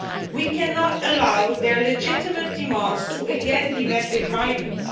We cannot allow their legitimate demands to again be met with violence.